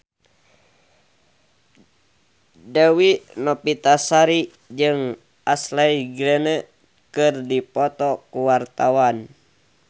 Dewi Novitasari jeung Ashley Greene keur dipoto ku wartawan